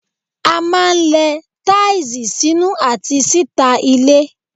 A máa ń lẹ táìsì sínú àti síta ilé.